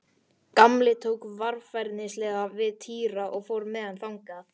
Gamli tók varfærnislega við Týra og fór með hann þangað.